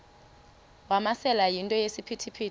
wamasele yinto esisiphithi